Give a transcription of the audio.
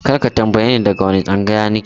Kar ka tambaye ni daga wane tsangaya na ke!